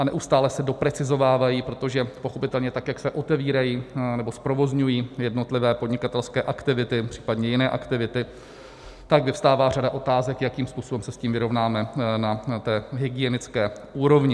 A neustále se doprecizovávají, protože pochopitelně tak jak se otevírají nebo zprovozňují jednotlivé podnikatelské aktivity, případně jiné aktivity, tak vyvstává řada otázek, jakým způsobem se s tím vyrovnáme na té hygienické úrovni.